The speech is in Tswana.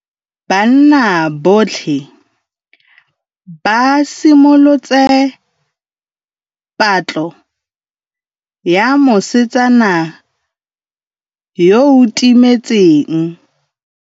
Banna botlhê ba simolotse patlô ya mosetsana yo o timetseng.